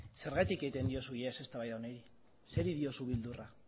zergatik egiten diozu ihes eztabaida honi zer diozu beldurra